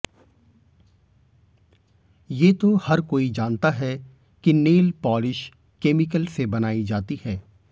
ये तो हर कोई जानता है कि नेल पॉलिश केमिकल से बनाई जाती है